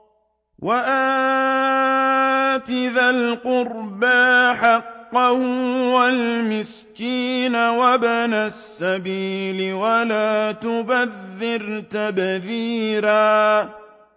وَآتِ ذَا الْقُرْبَىٰ حَقَّهُ وَالْمِسْكِينَ وَابْنَ السَّبِيلِ وَلَا تُبَذِّرْ تَبْذِيرًا